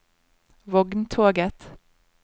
vogntoget